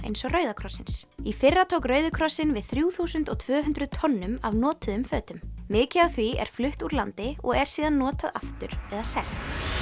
eins og Rauða krossins í fyrra tók Rauði krossinn við þrjú þúsund og tvö hundruð tonnum af notuðum fötum mikið af því er flutt úr landi og er síðan notað aftur eða selt